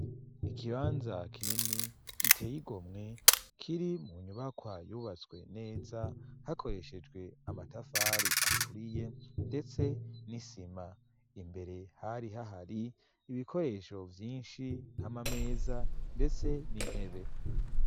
Ikibanza kinini giteye igomwe kiri mu nyubakwa yubatswe neza hakoreshejwe amatafari aturiye ndetse n'isima imbere hari hahari ibikoresho vyinshi nk'amameza ndetse n'intebe.